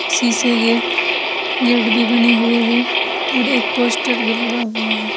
शीशे के गेट भी बने हुए हैं और एक पोस्टर भी लगा हुआ है।